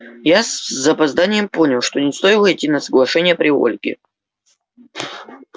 я с запозданием понял что не стоило идти на соглашение при ольге